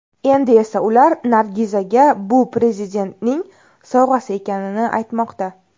Endi esa ular Nargizaga bu Prezidentning sovg‘asi ekanini aytmoqda.